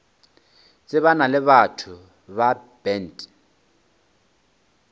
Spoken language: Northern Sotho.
tsebana le batho ba bant